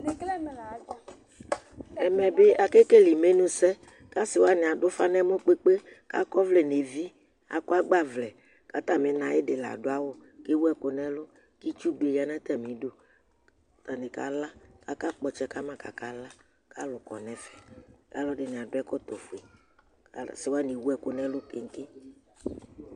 Ɛmɛ bi akekele imenusɛ kʋ asi waŋi aɖu ʋfa ŋu ɛmɔ kpe kpe Akɔ ɔvlɛ ŋu evi Akɔ agbavlɛ kʋ atami na ayìɖí kʋ ɛwu ku ŋu ɛlu Itsu bi ɖu atamɖu Taŋi kala Aka kpɔ ɔtsɛ kama kʋ akala kʋ alu kɔ ɛfɛ Alʋɛdìní aɖu ɛkɔtɔ fʋe Asi waŋi ɛwu ɛku ŋu ɛlu keke